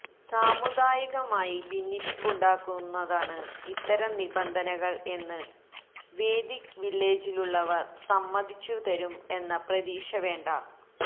സാമുദായികമായി ഭിന്നിപ്പുണ്ടാക്കുന്നതാണ് ഇത്തരം നിബന്ധനകള് എന്ന് വേദിക് വില്ലേജിലുള്ളവര് സമ്മതിച്ചുതരും എന്ന പ്രതീക്ഷ വേണ്ട